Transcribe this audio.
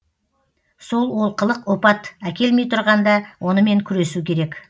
сол олқылық опат әкелмей тұрғанда онымен күресу керек